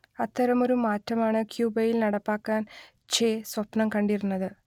അത്തരമൊരു മാറ്റം ആണ് ക്യൂബയിൽ നടപ്പാക്കാൻ ചെ സ്വപ്നം കണ്ടിരുന്നത്